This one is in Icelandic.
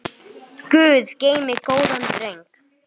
Guð geymi góðan dreng.